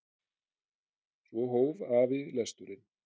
Svo hóf afi lesturinn.